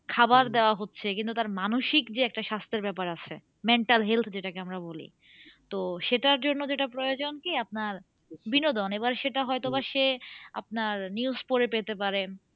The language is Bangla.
খাবার দেওয়া হচ্ছে কিন্তু তার মানসিক যে একটা স্বাস্থ্যের ব্যাপার আছে mental health যেটাকে আমরা বলি তো সেটার জন্য যেটা প্রয়োজন কি আপনার বিনোদন এবার সেটা হয়তো বা সে আপনার news পড়ে পেতে পারেন